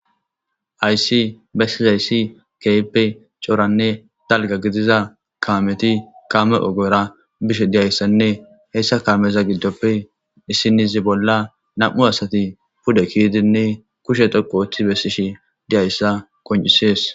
Hyssi bessizayssi keppe cooranne dalga gidiza kaameti kaame ogora bishe diyayssanne heyssa kaameza giddoppe issinizi bolla nam' u asatiu pude kiidinne kushe tokko oththi bessishi diyayssa kon'isees.